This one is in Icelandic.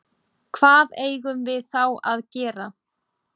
Hvað eigum við þá að gera?